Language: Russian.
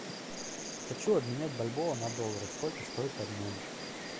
хочу обменять бальбоа на доллары сколько стоит обмен